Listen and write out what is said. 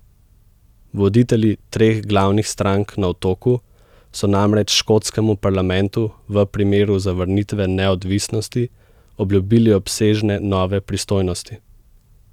Voditelji treh glavnih strank na Otoku so namreč škotskemu parlamentu v primeru zavrnitve neodvisnosti obljubili obsežne nove pristojnosti.